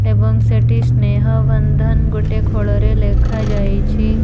ଏବଂ ସେଠି ସ୍ନେହବନ୍ଧନ ଗୋଟେ ଖୋଳରେ ଲେଖାଯାଇଛି।